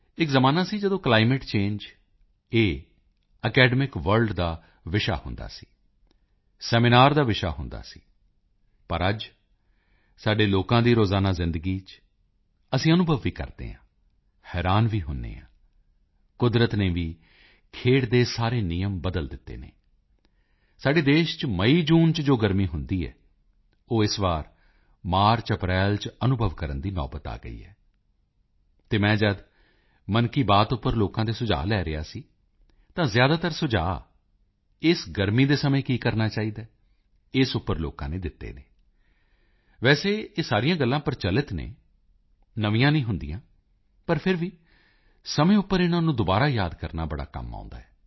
ਇਕ ਜ਼ਮਾਨਾ ਸੀ ਜਦ ਕਲਾਈਮੇਟ ਚੰਗੇ ਇਹ ਅਕੈਡਮਿਕ ਵਰਲਡ ਦਾ ਵਿਸ਼ਾ ਹੁੰਦਾ ਸੀ ਸੈਮੀਨਾਰ ਦਾ ਵਿਸ਼ਾ ਹੁੰਦਾ ਸੀ ਪਰ ਅੱਜ ਸਾਡੇ ਲੋਕਾਂ ਦੀ ਰੋਜ਼ਾਨਾ ਜ਼ਿੰਦਗੀ ਚ ਅਸੀਂ ਅਨੁਭਵ ਵੀ ਕਰਦੇ ਹਾਂ ਹੈਰਾਨ ਵੀ ਹੁੰਦੇ ਹਾਂ ਕੁਦਰਤ ਨੇ ਵੀ ਖੇਡ ਦੇ ਸਾਰੇ ਨਿਯਮ ਬਦਲ ਦਿੱਤੇ ਹਨ ਸਾਡੇ ਦੇਸ਼ ਚ ਮਈਜੂਨ ਚ ਜੋ ਗਰਮੀ ਹੁੰਦੀ ਹੈ ਉਹ ਇਸ ਵਾਰ ਮਾਰਚਅਪ੍ਰੈਲ ਚ ਅਨੁਭਵ ਕਰਨ ਦੀ ਨੌਬਤ ਆ ਗਈ ਹੈ ਅਤੇ ਮੈਂ ਜਦ ਮਨ ਕੀ ਬਾਤ ਉੱਪਰ ਲੋਕਾਂ ਦੇ ਸੁਝਾਅ ਲੈ ਰਿਹਾ ਸੀ ਤਾਂ ਜ਼ਿਆਦਾਤਰ ਸੁਝਾਅ ਇਸ ਗਰਮੀ ਦੇ ਸਮੇਂ ਕੀ ਕਰਨਾ ਚਾਹੀਦਾ ਹੈ ਇਸ ਉੱਪਰ ਲੋਕਾਂ ਨੇ ਦਿੱਤੇ ਹਨ ਵੈਸੇ ਇਹ ਸਾਰੀਆਂ ਗੱਲਾਂ ਪ੍ਰਚੱਲਿਤ ਹਨ ਨਵੀਆਂ ਨਹੀਂ ਹੁੰਦੀਆਂ ਪਰ ਫਿਰ ਵੀ ਸਮੇਂ ਉੱਪਰ ਇਨਾਂ ਨੂੰ ਦੁਬਾਰਾ ਯਾਦ ਕਰਨਾ ਬਹੁਤ ਕੰਮ ਆਉਂਦਾ ਹੈ